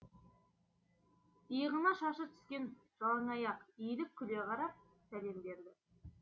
иығына шашы түскен жалаңаяқ иіліп күле қарап сәлем берді